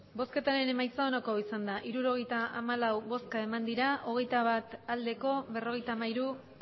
emandako botoak hirurogeita hamalau bai hogeita bat ez berrogeita hamairu